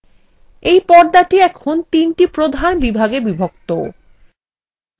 এই পর্দাটি এখন তিনটি প্রধান বিভাগে বিভক্ত